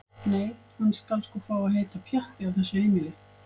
Nei- hann skal sko fá að heita Pjatti á þessu heimili.